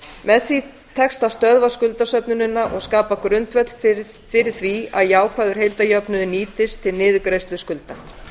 með því tekst að stöðva skuldasöfnunina og skapa grundvöll fyrir því að jákvæður heildarjöfnuður nýtist til niðurgreiðslu skulda